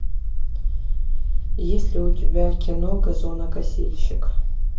есть ли у тебя кино газонокосильщик